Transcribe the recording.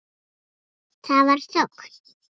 Það var þögn.